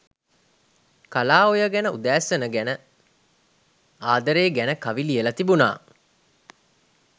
කලා ඔය ගැන උදෑසන ගැන ආදරේ ගැන කවි ලියලා තිබුනා.